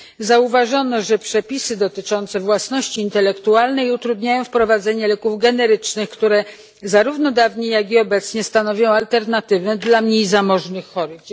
Zauważono, że przepisy dotyczące własności intelektualnej utrudniają wprowadzenie leków generycznych, które zarówno dawniej, jak i obecnie stanowią alternatywę dla mniej zamożnych chorych.